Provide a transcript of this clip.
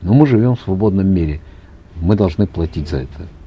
но мы живем в свободном мире мы должны платить за это